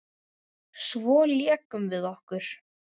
Svo lékum við okkur.